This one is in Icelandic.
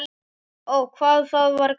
Ó, hvað það var gaman.